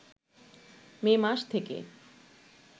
মে মাস থেকে